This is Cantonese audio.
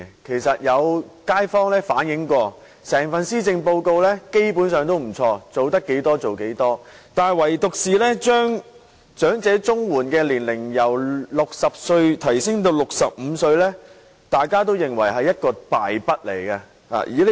其實有街坊反映過，整份施政報告基本上也不錯，做到多少便做多少，但唯獨把長者綜援年齡由60歲提高至65歲，大家都認為是一項敗筆。